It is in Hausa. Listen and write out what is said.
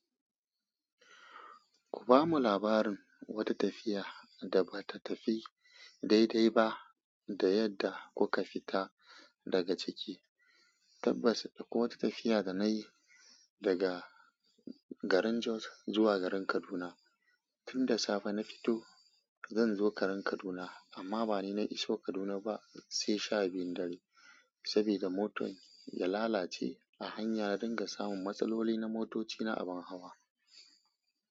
Ku bamu labarin wata tafiya da ba ta tafi daidai ba da yadda kuka fita daga ciki. Tabbas, dako wata tafiya da nayi daga garin Jos zuwa garin Kaduna. Tinda safe na fito zanzo garin Kaduna amma bani na iso Kaduna ba sai sha biyun dare. Saboda motar ya lalace a hanya ya dunga samun matsaloli na motoci na abin hawa.